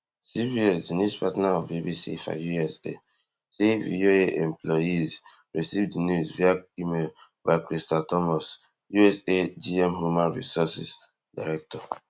CBS di news partner of BBC for say VOA employees receive di news via email by crystal thomas USA GM human resources director